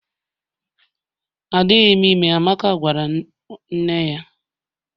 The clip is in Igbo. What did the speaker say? Adịghị m ime, Amaka gwara nne ya